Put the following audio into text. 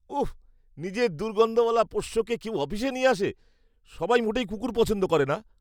উফ, নিজের দুর্গন্ধওয়ালা পোষ্যকে কেউ অফিসে নিয়ে আসে? সবাই মোটেই কুকুর পছন্দ করে না।